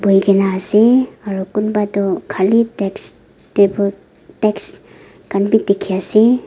bui kina ase aro kunba tu kali desk desk kan bi tiki ase.